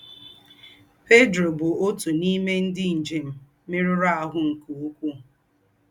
Pedro bú òtú n’ímè ndí́ ńjém mérùrù àhù́ nké úkwuu.